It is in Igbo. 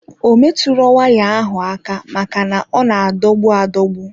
Ọ metụro waya ahụ aka maka na ọ na adogbu adogbu.